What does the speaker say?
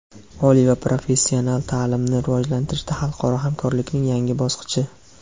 Oliy va professional taʼlimni rivojlantirishda xalqaro hamkorlikning yangi bosqichi.